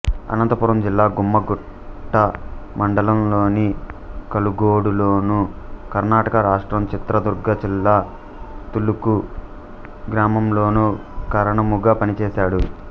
అనంతపురం జిల్లా గుమ్మఘట్ట మండలం లోని కలుగోడు లోను కర్ణాటక రాష్ట్రం చిత్రదుర్గ జిల్లా తళుకు గ్రామంలోను కరణముగా పనిచేశాడు